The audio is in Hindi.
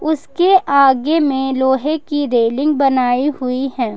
उसके आगे में लोहे की रेलिंग बनाई हुई है।